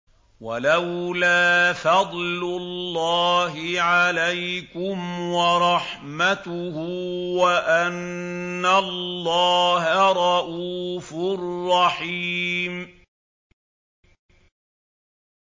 وَلَوْلَا فَضْلُ اللَّهِ عَلَيْكُمْ وَرَحْمَتُهُ وَأَنَّ اللَّهَ رَءُوفٌ رَّحِيمٌ